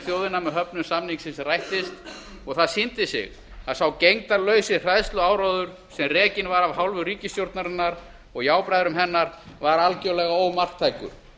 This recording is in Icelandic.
með höfnun samningsins rættist og það sýndi sig að sá gegndarlausi hræðsluáróður sem rekinn var af hálfu ríkisstjórnarinnar og jábræðra hennar var algjörlega ómarktækur